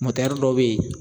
dɔw bɛ yen